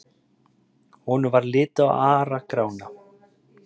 Honum varð litið á Ara-Grána.